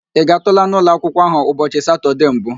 Ị gaatụla n'ụlọ akwụkwụọ ahụ ụbọchị Satọde mbụ?